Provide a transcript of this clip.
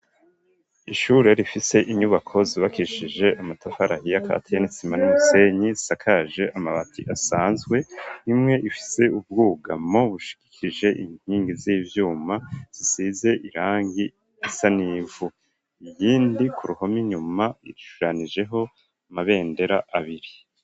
Ishure rifise inyubako zubakishije amatafari ahiya akatiye n'isima n'usenyi zisakaje amabati asanzwe imwe ifise ubwugamwo bushikikijwe inkingi z'ivyuma zisize irangi risa n'ivu iyindi ku ruhome nyuma ishushanijeho amabendera abiri.